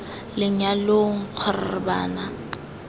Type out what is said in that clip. lenyalong k g r bana